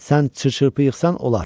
Sən çırçırpı yığsan olar.